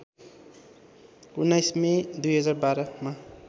१९ May २०१२ मा